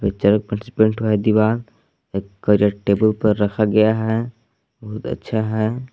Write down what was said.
Paint हुआ है दीवाल टेबल पर रखा गया है बहुत अच्छा है।